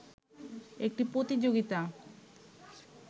একটি প্রতিযোগিতা